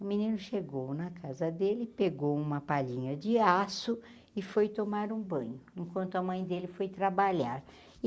O menino chegou na casa dele, pegou uma palhinha de aço e foi tomar um banho, enquanto a mãe dele foi trabalhar.